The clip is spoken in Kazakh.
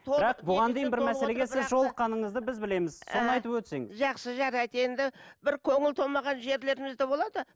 жолыққаныңызды біз бізлеміз соны айтып өтсеңіз жақсы жарайды енді бір көңіл толмаған жерлеріміз де болады